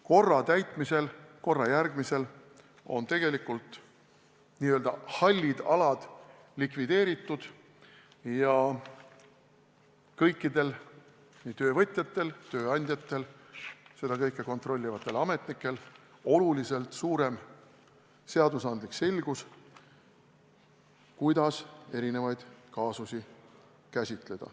Korra täitmisel, korra järgimisel on tegelikult n-ö hallid alad likvideeritud ja kõikidel, nii töövõtjatel, tööandjatel kui ka seda kõike kontrollivatel ametnikel oluliselt suurem seadusandlik selgus, kuidas erinevaid kaasusi käsitleda.